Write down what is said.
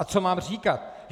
A co mám říkat?